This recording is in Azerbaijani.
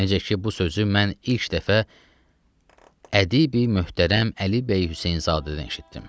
Necə ki, bu sözü mən ilk dəfə ədibi möhtərəm Əli bəy Hüseynzadədən eşitdim.